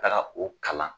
Taga o kalan